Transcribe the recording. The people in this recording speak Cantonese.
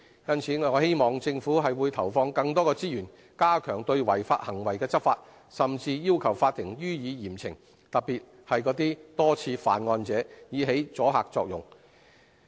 因此，我希望政府會投放更多資源，加強對違法行為執法，甚至要求法庭予以嚴懲，特別是那些多次犯案者，以起阻嚇作用。